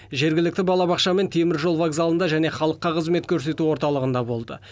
жергілікті балабақша мен теміржол вокзалында және халыққа қызмет көрсету орталығында болды